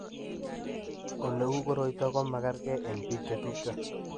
Ole u koroito ko magerge eng' biko chetupcho.